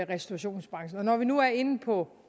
restaurationsbranchen når vi nu er inde på